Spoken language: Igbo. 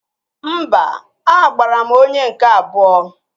Mba, agbara m onye nke abụọ